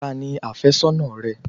Ta ni afésónà rẹ?